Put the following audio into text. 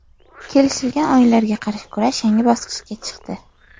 Kelishilgan o‘yinlarga qarshi kurash yangi bosqichga chiqdi.